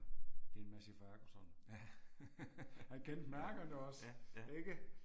Det er en Massey Ferguson. Han kendte mærkerne også, ikke?